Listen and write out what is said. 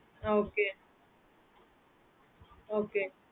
okay okay